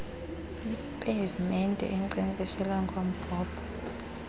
iipavumente enkcenkceshela ngombhobho